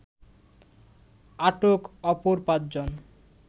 আটক অপর পাঁচজন